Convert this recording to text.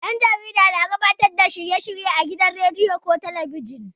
Ɗan jarida na gabatar da shirye-shirye a gidan rediyo ko talabijin.